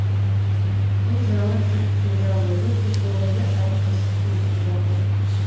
бұл жаңа жыл мейрамы өте көңілді әрі қызықты өтіп жатыр